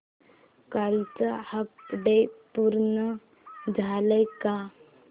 कालचं अपडेट पूर्ण झालंय का